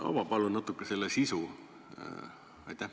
Ava palun natuke selle sisu!